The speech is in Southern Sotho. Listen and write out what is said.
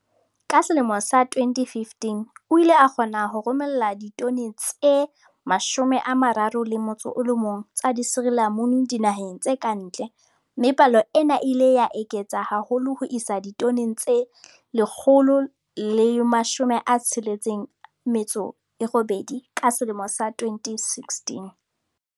Ka selemo sa 2015, o ile a kgona ho romela ditone tse 31 tsa disirilamunu dinaheng tse kantle mme palo ena e ile ya eketseha haholo ho isa ditoneng tse 168 ka selemo sa 2016.